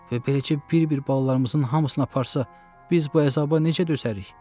Və beləcə bir-bir balalarımızın hamısını aparsa, biz bu əzaba necə dözərik?